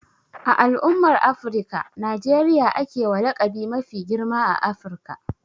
A al'umman Afirika, Najeriya a ke wa laƙabi mafi girma a Afirka.